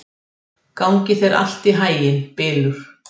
Gangi þér allt í haginn, Bylur.